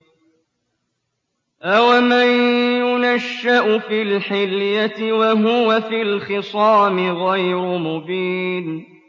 أَوَمَن يُنَشَّأُ فِي الْحِلْيَةِ وَهُوَ فِي الْخِصَامِ غَيْرُ مُبِينٍ